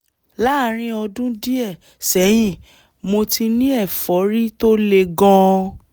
láàárín ọdún díẹ̀ sẹ́yìn mo ti ní ẹ̀fọ́rí tó le gan-an